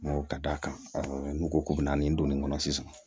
Ka d'a kan n'u ko k'u bɛ na nin don nin kɔnɔ sisan